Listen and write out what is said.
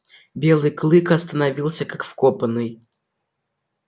белый клык остановился как вкопанный